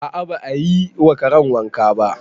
A'a ba a yi wa karen wanka ba